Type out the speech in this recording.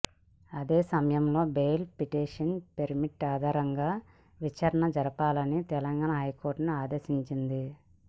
అదే సమయంలో బెయిల్ పిటిషన్పై మెరిట్ ఆధారంగా విచారణ జరపాలని తెలంగాణ హైకోర్టును ఆదేశించింది